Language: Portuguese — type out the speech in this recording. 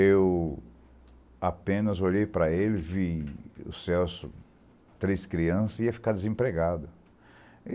Eu apenas olhei para ele, vi o Celso, três crianças, e ia ficar desempregado.